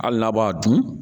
Hali n'a b'a dun